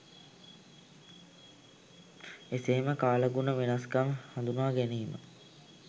එසේම කාලගුණ වෙනස්කම් හඳුනා ගැනීම